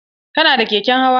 Kana da keken hawa?